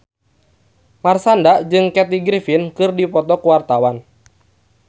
Marshanda jeung Kathy Griffin keur dipoto ku wartawan